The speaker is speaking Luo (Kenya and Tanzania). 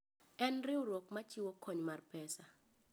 En riwruok ma chiwo kony mar pesa.